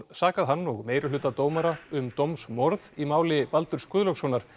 sakað hann og meirihluta dómara um dómsmorð í máli Baldurs Guðlaugssonar